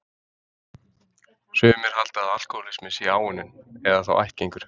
Sumir halda að alkohólismi sé áunninn, eða þá ættgengur.